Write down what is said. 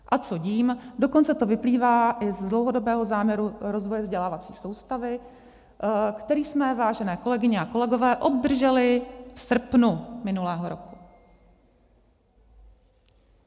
A co dím, dokonce to vyplývá i z dlouhodobého záměru rozvoje vzdělávací soustavy, který jsme, vážené kolegyně a kolegové, obdrželi v srpnu minulého roku.